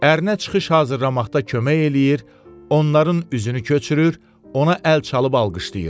Ərinə çıxış hazırlamaqda kömək eləyir, onların üzünü köçürür, ona əl çalıb alqışlayır.